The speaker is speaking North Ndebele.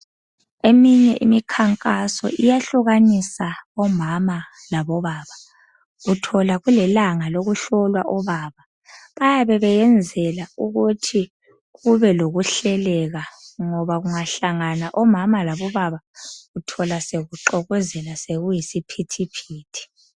Eminye imikhankaso iyahlukanisa omama labo baba uthola kulelanga lokuhlola obaba bayabe beyenzela ukuthi kube lokuhleleka ngoba kungahlangana omama labo baba uthola sekuxokozela sekuyisiphithiphithi.